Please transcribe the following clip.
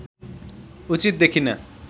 उचित देखिँन